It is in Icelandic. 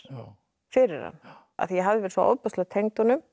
fyrir hann af því ég hafði verið svo ofboðslega tengd honum